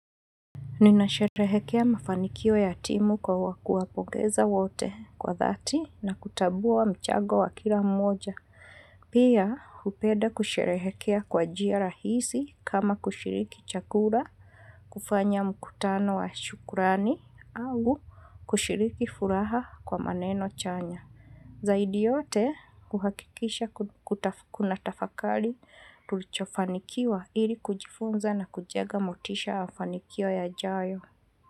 Ninasherehekea mafanikio ya timu kwa kuwapongeza wote kwa dhati na kutambua mchango wa kila mmoja. Pia hupenda kusherehekea kwa njia rahisi kama kushiriki chakula, kufanya mkutano wa shukrani au kushiriki furaha kwa maneno chanya. Zaidi yote kuhakikisha kuna tafakari tulichofanikiwa ili kujifunza na kujenga motisha ya fanikio yajayo.